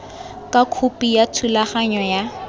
ka khopi ya thulaganyo ya